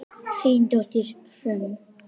Þín dóttir, Hrönn.